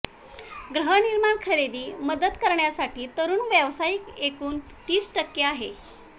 गृहनिर्माण खरेदी मदत करण्यासाठी तरुण व्यावसायिक एकूण तीस टक्के आहे